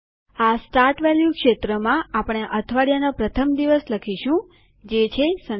આ start value ક્ષેત્રમાં આપણે અઠવાડિયાનો પ્રથમ દિવસ લખીશું જે છે સનડે